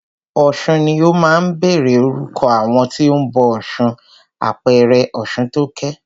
Ọ̀sun ni ó máa ń bẹ̀rẹ̀ orúkọ àwọn tí o ń bọ ọ̀ṣun, àpẹẹrẹ Ọ̀ṣuntókẹ́.